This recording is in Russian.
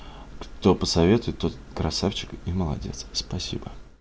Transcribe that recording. кто посоветует тот красавчик и молодец спасибо